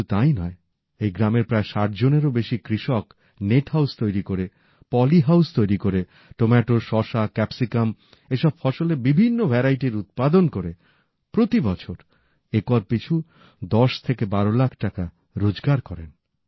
শুধু তাই নয় এই গ্রামের প্রায় ৬০ জনেরও বেশি কৃষক নেট হাউস তৈরি করে পলি হাউস তৈরি করে টমেটো শসা ক্যাপসিকাম এসব বিভিন্ন ধরণের ফসলের উৎপাদন করে প্রতিবছর একর পিছু ১০ থেকে ১২ লাখ টাকা রোজগার করেন